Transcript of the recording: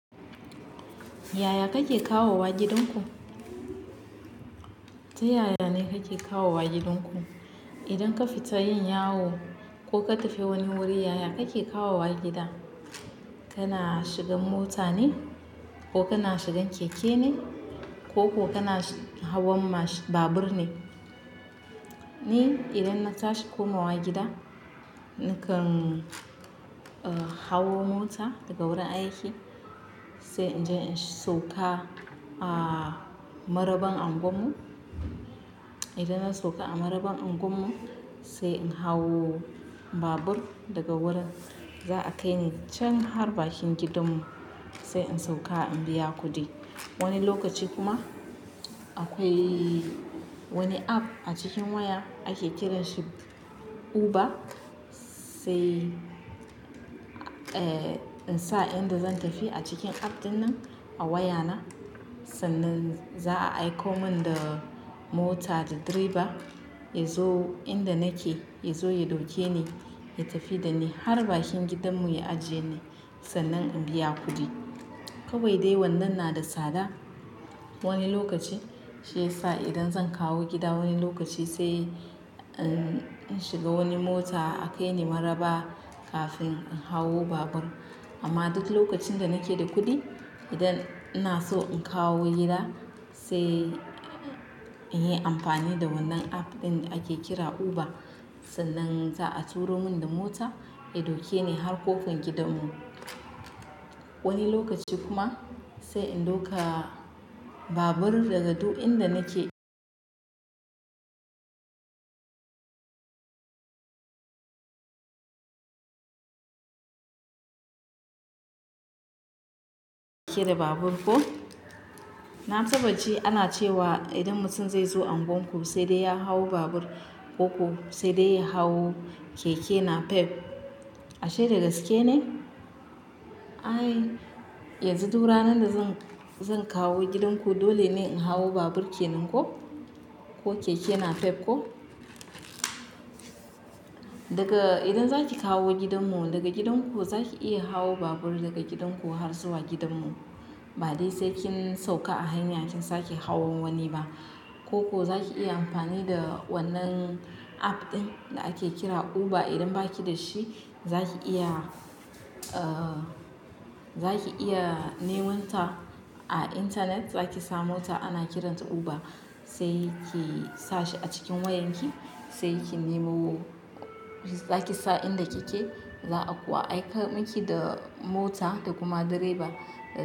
Yaya kake kawo wa gidanku? Ta yaya ne kake kawo wa gidanku? Idan ka fita yin yawo ko ka tafi wani wuri, yaya kake kawo wa gida? Kana shigan mota ne? Ko kana shigan keke ne? Ko kuwa kana hawan babur ne? Ni idan na tashi komawa gida, nakan, uh, hawo mota daga wuri aiki, sai in je in sauka a maraban unguwarmu. Idan na sauka a maraban unguwarmu sai in hawo babur daga wurin za a kai ni can har bakin gidanmu sai in sauka in biya kuɗi. Wani lokaci kuma akwai wani app a cikin waya ake kiran shi Uber. Sai, eh, in sa inda zan tafi a cikin app ɗinnan a wayana, sannan za a aiko mun da mota da driver ya zo inda nake, ya zo ya dauke ni, ya tafi da ni har bakin gidanmu ya ajiye ni sannan in biya kuɗi. Kawai dai wannan na da tsada wani lokaci shiyasa idan zan kawo gida wani lokaci sai in shiga wani mota akai ni maraba kafin in hawo babur. Amma duk lokacin da nake da kuɗi, idan ina so in kawo gida sai in yi amfani da wannan app ɗin da ake kira Uber sannan za a turo mun da mota ya dauke ni har ƙofar gidanmu. Wani lokaci kuma sai in dauka babur daga du inda nake. Kira babur ko. Na taba ji ana cewa idan mutum zai zo unguwarku sai dai ya hawo babur, ko kuwa sai dai ya hawo keke napep. Ashe dagaske ne? Ai, yanzu du ranar da zan, zan kawo gidanku dole ne in hawo babur kenan ko? Ko keke napep ko? Daga idan zaki kawo gidanmu, daga gidan ku zaki iya hawo babur daga gidan ku har zuwa gidanmu. Ba dai sai kin sauka a hanya kin sake hawan wani ba. Ko ko zaki iya amfani da wannan app ɗin da ake kira Uber idan baki da shi zaki iya, uh, zaki iya neman ta a intanet zaki samo ta ana kiranta Uber. Sai ki sa shi a cikin wayanki, sai ki nemo zaki sa inda kike za a kuwa aiko miki da mota da kuma direba da.